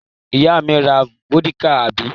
Ìyá mi ra vódíkà, àbí?